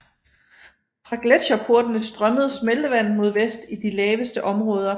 Fra gletsjerportene strømmede smeltevandet mod vest i de laveste områder